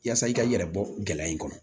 Yaasa i ka i yɛrɛ bɔ gɛlɛya in kɔnɔ